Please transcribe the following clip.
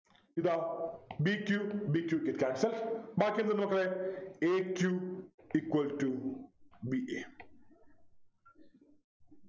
ഇതാ b q b q get cancelled ബാക്കി എന്തുണ്ട് മക്കളെ a q equal to b a